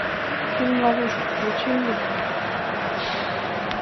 фильм ловушка включи мне